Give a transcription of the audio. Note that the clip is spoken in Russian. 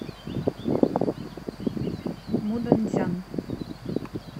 муданьцзян